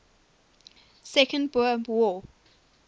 second boer war